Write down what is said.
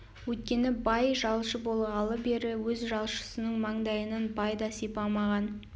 өйткені бай жалшы болғалы бері өз жалшысының маңдайынан бай да сипамаған